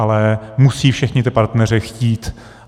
Ale musí všichni ti partneři chtít.